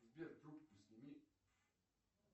сбер трубку сними